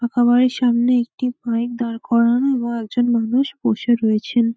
পাকা বাড়ির সামনে একটি বাইক দাঁড় করানো এবং একজন মানুষ বসে রয়েছেন ।